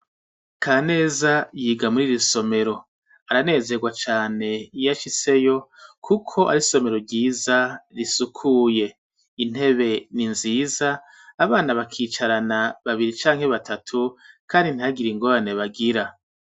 Kaneza yiga muri iri somero .aranezerwa cane iyo ashitseyo, kuko ari isomero ryiza, risukuye. Intebe ni nziza, abana bakicarana babiri canke batatu kandi ntihagire ingorane bagira.